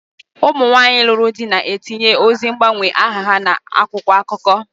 Ụmụ nwaanyị lụrụ di na-etinye ozi mgbanwe aha ha n'akwụkwọ akụkọ.